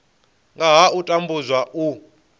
nga ha u tambudzwa u